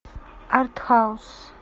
артхаус